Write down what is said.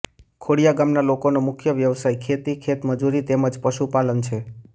ખોડીયા ગામના લોકોનો મુખ્ય વ્યવસાય ખેતી ખેતમજૂરી તેમ જ પશુપાલન છે